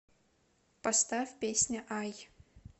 поставь песня ай